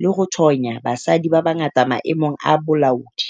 le ho thonya basadi ba bangata maemong a bolaodi.